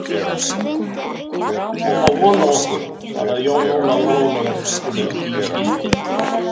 Hann á von á okkur, svaraði Jón Ólafur rólega og rýndi í skiltið.